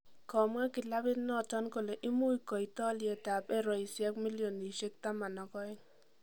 Komwa kilabit noton kole imuch koit oliyet ab Eroisiek milionisiek taman ak ooeng'.